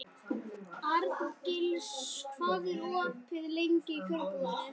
Arngils, hvað er opið lengi í Kjörbúðinni?